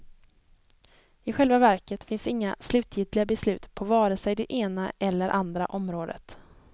I själva verket finns inga slutgiltiga beslut på vare sig det ena eller andra området.